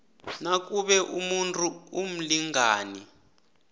nakube umuntu umlingani